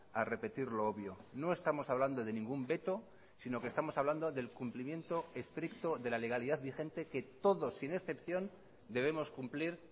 a repetir lo obvio no estamos hablando de ningún veto sino que estamos hablando del cumplimiento estricto de la legalidad vigente que todos sin excepción debemos cumplir